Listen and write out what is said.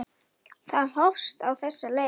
Það hófst á þessa leið.